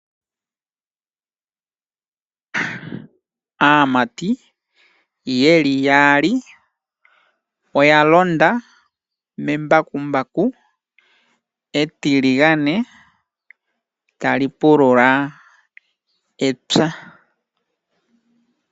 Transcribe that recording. Aamati yeli yaali oya londa membakumbaku etiligane tali pulula epya.